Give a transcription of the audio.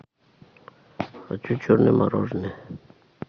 хочу черное мороженое